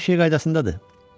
Hə, hər şey qaydasındadır.